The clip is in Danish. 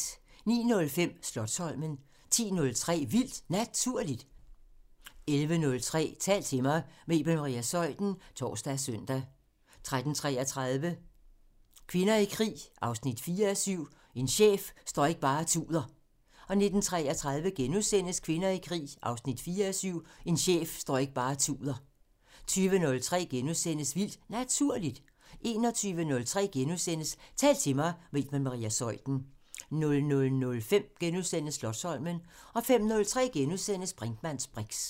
09:05: Slotsholmen 10:03: Vildt Naturligt 11:03: Tal til mig – med Iben Maria Zeuthen (tor og søn) 13:33: Kvinder i krig 4:7 – "En chef står ikke bare og tuder" 19:33: Kvinder i krig 4:7 – "En chef står ikke bare og tuder" * 20:03: Vildt Naturligt * 21:03: Tal til mig – med Iben Maria Zeuthen * 00:05: Slotsholmen * 05:03: Brinkmanns briks *